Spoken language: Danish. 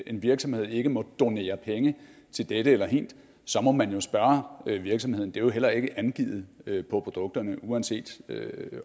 en virksomhed ikke må donere penge til dette eller hint så må man jo spørge virksomheden det er jo heller ikke angivet på produkterne uanset